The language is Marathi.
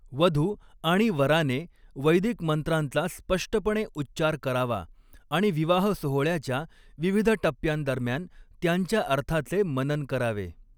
वधू आणि वराने वैदिक मंत्रांचा स्पष्टपणे उच्चार करावा आणि विवाह सोहळ्याच्या विविध टप्प्यांदरम्यान त्यांच्या अर्थाचे मनन करावे.